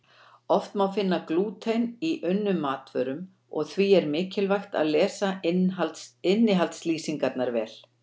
Oft má finna glúten í unnum matvörum og því er mikilvægt að lesa innihaldslýsingar vel.